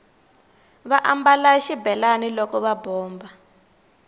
va ambala xibelani loko va bomba